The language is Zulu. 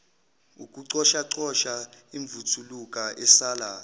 ukucoshacosha imvuthuluka esala